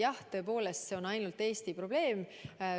Jah, tõepoolest, see on ainult Eesti probleem.